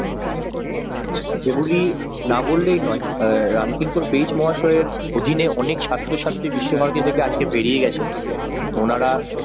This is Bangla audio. এগুলি না বললেই নয় রামকিঙ্কন বেশ মহাশয় অধীনে অনেক ছাত্র-ছাত্রী বিশ্বভারতী থেকে আজকে বেরিয়ে গেছেন ওনারা